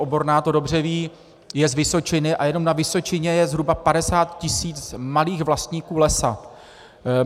Oborná to dobře ví, je z Vysočiny, a jenom na Vysočině je zhruba 50 tisíc malých vlastníků lesa.